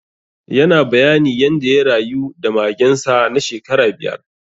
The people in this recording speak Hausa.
Yana bayani yanda ya rayu da magen sa na shekara biyar.